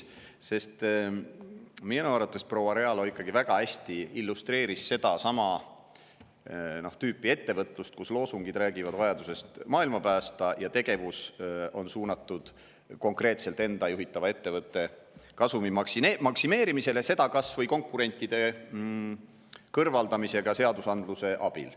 Minu arvates proua Realo ikkagi väga hästi illustreeris seda tüüpi ettevõtlust, kus loosungid räägivad vajadusest maailma päästa, aga tegevus on suunatud konkreetselt enda juhitava ettevõtte kasumi maksimeerimisele, seda kas või konkurentide kõrvaldamisega seadusandluse abil.